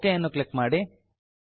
okay ಅನ್ನು click ಮಾಡಿ